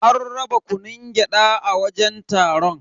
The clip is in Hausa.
An raba kunun gyada a wajen taron.